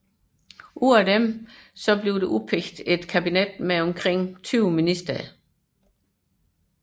Fra disse udpeges et kabinet med omkring 20 ministre